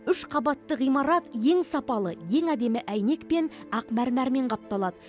үш қабатты ғимарат ең сапалы ең әдемі әйнекпен ақ мәрмәрмен қапталады